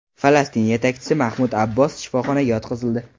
Falastin yetakchisi Mahmud Abbos shifoxonaga yotqizildi.